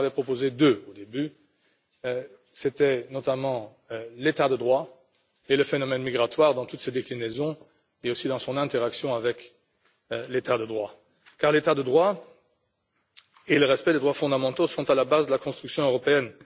J'en avais proposé deux au début l'état de droit et le phénomène migratoire, dans toutes ses déclinaisons et aussi dans son interaction avec l'état de droit, car l'état de droit et le respect des droits fondamentaux sont à la base de la construction européenne.